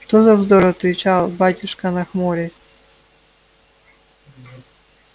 что за вздор отвечал батюшка нахмурясь